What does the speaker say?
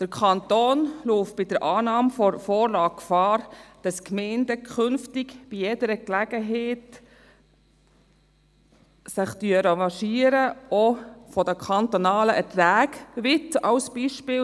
Bei einer Annahme der Vorlage läuft der Kanton Gefahr, dass sich die Gemeinden künftig bei jeder Gelegenheit revanchieren, bei den kantonalen Erträgen zum Beispiel.